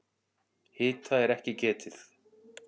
Hita er ekki getið.